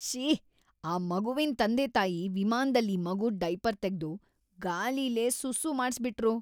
ಶ್ಶೀ.. ಆ ಮಗುವಿನ್‌ ತಂದೆತಾಯಿ ವಿಮಾನ್ದಲ್ಲಿ ಮಗುದ್ ಡಯಾಪರ್ ತೆಗ್ದು ಗ್ಯಾಲಿಲೇ ಸುಸ್ಸೂ ಮಾಡ್ಸ್‌ಬಿಟ್ರು.